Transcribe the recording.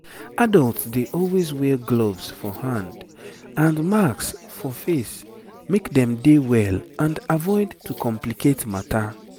adults dey always wear gloves for hand and masks for face make dem dey well and avoid to complicate matter